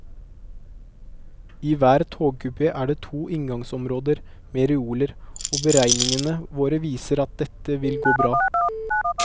I hver togkupé er det to inngangsområder med reoler, og beregningene våre viser at dette vil gå bra.